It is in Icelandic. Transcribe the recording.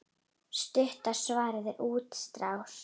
Stutta svarið er útrás.